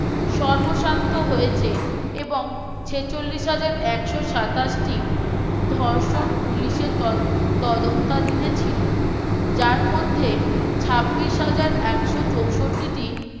সর্বস্বান্ত হয়েছে এবং ছেচল্লিশ হাজার একশ সাতাশ টি ধর্ষণ পুলিশের ত তদন্তাধীন ছিল যার মধ্যে ছাব্বিশ হাজার একশো চৌষট্টি টি